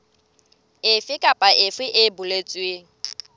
efe kapa efe e boletsweng